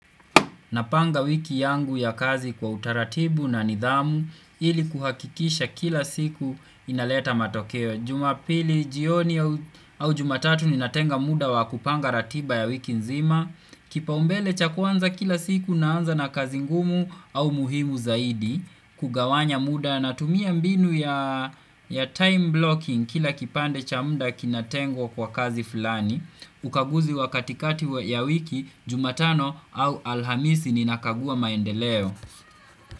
Napanga wiki yangu ya kazi kwa utaratibu na nidhamu ili kuhakikisha kila siku inaleta matokeo Juma pili, jioni au jumatatu ninatenga muda wa kupanga ratiba ya wiki nzima Kipaumbele chakwanza kila siku naanza na kazi ngumu au muhimu zaidi Kugawanya muda na tumia mbinu ya time blocking kila kipande cha muda kinatengwa kwa kazi fulani Ukaguzi wakatikati ya wiki jumatano au alhamisi ninakagua maendeleo.